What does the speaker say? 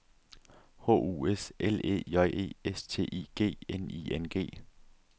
H U S L E J E S T I G N I N G